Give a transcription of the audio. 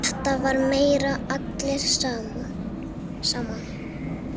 Þetta var meira allir saman.